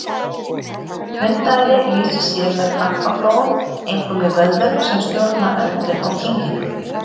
Hundaæði lýsir sér með krampaflogum, einkum í vöðvum sem stjórna öndun og kyngingu.